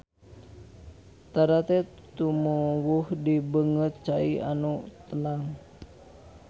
Tarate tumuwuh di beungeut cai anu tenang.